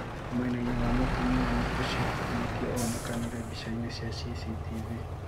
Mwenaine wa mutumiani ũcio kũhonokio onekanire bica-ini cia CCTV.